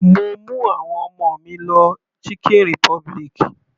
Mo mú àwọn ọmọ mi lọ chicken republic.